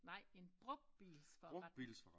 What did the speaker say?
Nej en brugtbilsforretning